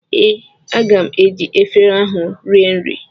Ee, aga m eji efere ahụ rie nri